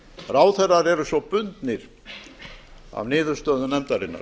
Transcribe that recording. ráðherrar eru svo bundnir af niðurstöðum nefndarinnar